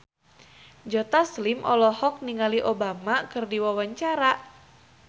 Joe Taslim olohok ningali Obama keur diwawancara